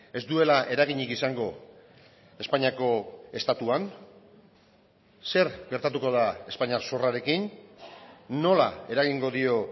ez duela eraginik izango espainiako estatuan zer gertatuko da espainiar zorrarekin nola eragingo dio